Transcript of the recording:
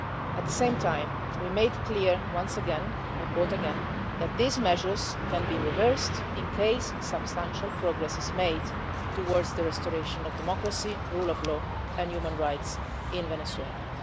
At the same time, we made clear once again, I quote again that these measures can be reversed in case substantial progress is made towards the restoration of democracy, rule of law and human rights in Venezuela.'.